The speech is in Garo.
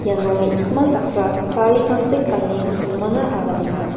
iano me·chikma saksa sari tangsek gane jinmana aganenga.